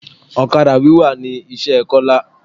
Ọ̀kadà wíwà ni iṣẹ́ Kola